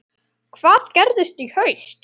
Hvað gerist í haust?